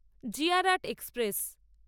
জি R আট express